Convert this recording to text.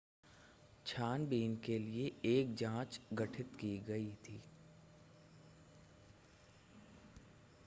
छानबीन के लिए एक जांच गठित की गई थी